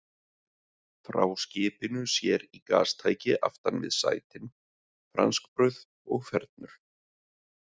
Frá skipinu sér í gastæki aftan við sætin, franskbrauð og fernur.